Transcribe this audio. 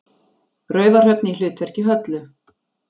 Raufarhöfn í hlutverki Höllu.